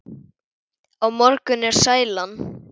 Á morgun er sælan.